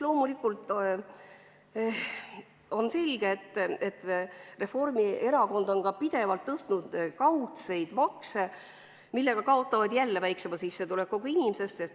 Loomulikult on selge, et Reformierakond on ka pidevalt tõstnud kaudseid makse, millega jällegi kaotavad väiksema sissetulekuga inimesed.